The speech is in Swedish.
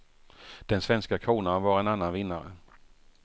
Den svenska kronan var en annan vinnare.